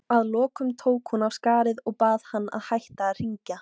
Að lokum tók hún af skarið og bað hann að hætta að hringja.